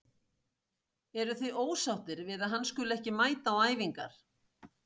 Eruð þið ósáttir við að hann skuli ekki mæta á æfingar?